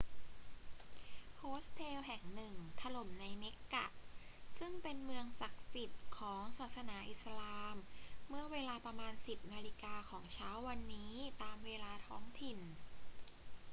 โฮสเทลแห่งหนึ่งถล่มในเมกกะซึ่งเป็นเมืองศักดิ์สิทธิ์ของศาสนาอิสลามเมื่อเวลาประมาณ 10 นาฬิกาของเช้าวันนี้ตามเวลาท้องถิ่น